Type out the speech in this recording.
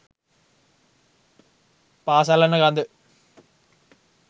පා සලන ගඳ